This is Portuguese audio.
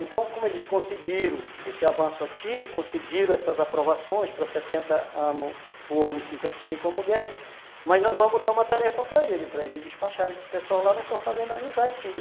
Então, como eles conseguiram esse avanço aqui, conseguiram essas aprovações para sessenta anos, o homem e cinquenta e cinco anos a mulher, mas nós vamos dar uma tarefa para ele, para ele despachar esse pessoal lá, nós só fazemos analisar aqui.